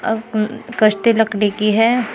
अह अह कश्ती लकड़ी की है।